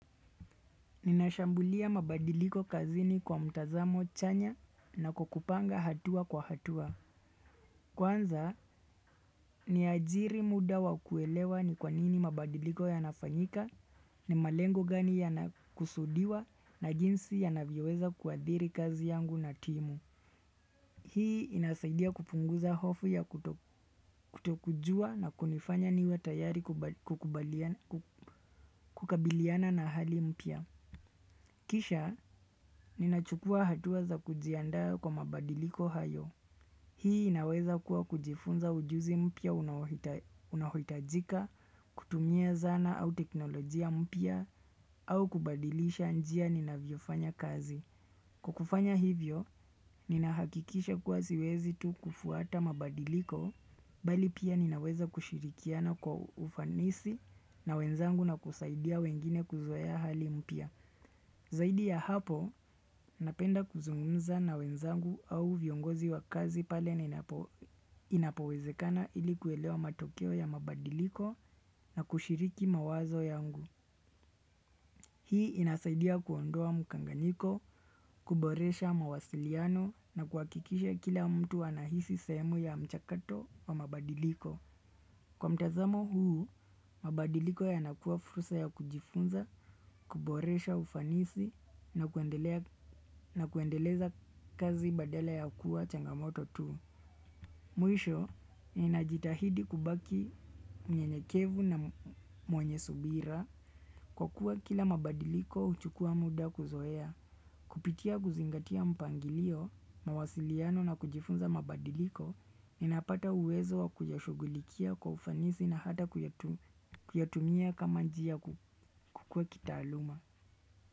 Ninashambulia mabadiliko kazini kwa mtazamo chanya na kukupanga hatua kwa hatua. Kwanza ni ajiri muda wa kuelewa ni kwanini mabadiliko yanafanyika ni malengo gani yanakusudiwa na jinsi yanavyoweza kuadhiri kazi yangu na timu. Hii inasaidia kupunguza hofu ya kutokujua na kunifanya niwe tayari kukabiliana na hali mpya. Kisha, ninachukua hatua za kujiandaa kwa mabadiliko hayo. Hii inaweza kuwa kujifunza ujuzi mpya unaohitajika, kutumia zana au teknolojia mpya, au kubadilisha njia ninavyo fanya kazi. Kukufanya hivyo, ninahakikisha kuwa siwezi tu kufuata mabadiliko, bali pia ninaweza kushirikiana kwa ufanisi na wenzangu na kusaidia wengine kuzoea hali mpia. Zaidi ya hapo, napenda kuzungumza na wenzangu au viongozi wa kazi pale napo inapowezekana ilikuelewa matokeo ya mabadiliko na kushiriki mawazo yangu. Hii inasaidia kuondoa mkanganyiko, kuboresha mawasiliano na kuhakikisha kila mtu anahisi sehemu ya mchakato wa mabadiliko. Kwa mtazamo huu, mabadiliko yanakuwa furusa ya kujifunza, kuboresha ufanisi na kuendeleza kazi badala ya kuwa changamoto tu. Mwisho, ninajitahidi kubaki mnyenyekevu na mwenye subira kwa kuwa kila mabadiliko huchukua muda kuzoea. Kupitia kuzingatia mpangilio, mawasiliano na kujifunza mabadiliko, ninapata uwezo wa kuyashugulikia kwa ufanisi na hata kuyatumia kama njia kukua kitaaluma.